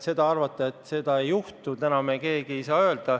Arvata, et seda ei juhtu, täna meil kellelgi alust ei ole.